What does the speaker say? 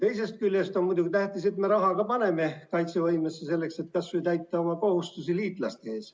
Teisest küljest on muidugi tähtis, et me ka raha paneme kaitsevõimesse, selleks et täita kas või oma kohustusi liitlaste ees.